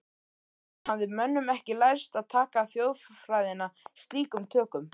Enn hafði mönnum ekki lærst að taka þjóðfræðina slíkum tökum.